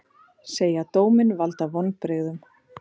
Segja dóminn valda vonbrigðum